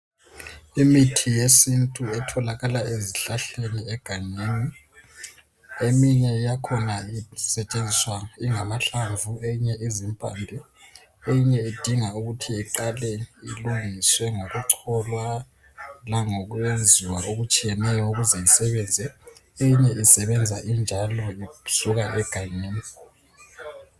Imithi yesintu etholakala ezihlahleni egangeni eminye yakhona isetshenziswa ingamahlamvu eyinye izimpande eyinye idinga ukuthi iqalwe ilungiswe ngokucholwa langokuyenziwa okutshiyeneyo ukuze isebenze, eyinye isebenza injalo isuka egangeni.